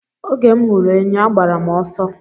Oge m hụrụ enyi agbara m ọsọ.